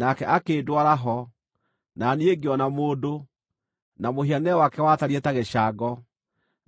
Nake akĩndwara ho, na niĩ ngĩona mũndũ, na mũhianĩre wake watariĩ ta gĩcango;